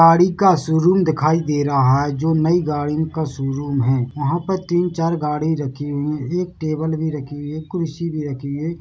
गाड़ी का शोरूम दिखाई दे रहा है जो नई गाड़ियों का शोरूम है यहाँ पर तीन-चार गाड़ी रखी हुई है एक टेबल भी रखी हुई है कुर्सी भी रखी हुई है।